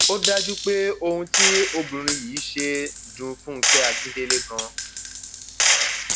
ó dájú pé ohun tí obìnrin yìí ṣe dún fúnkẹ akíndélé ganan